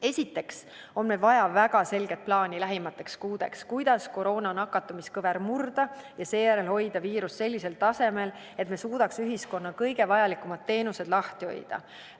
Esiteks on meil vaja väga selget plaani lähimateks kuudeks, kuidas koroona nakatumiskõver murda ja seejärel hoida viirust sellisel tasemel, et me suudaks ühiskonna kõige vajalikumad teenused lahti hoida.